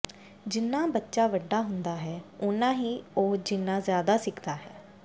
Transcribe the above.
ਜਿੰਨਾ ਬੱਚਾ ਵੱਡਾ ਹੁੰਦਾ ਹੈ ਉੱਨਾ ਹੀ ਉਹ ਜਿੰਨਾ ਜ਼ਿਆਦਾ ਸਿੱਖਦਾ ਹੈ